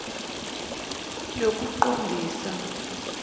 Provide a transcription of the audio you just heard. yokuqondisa